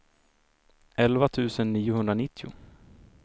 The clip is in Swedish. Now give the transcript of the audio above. elva tusen niohundranittio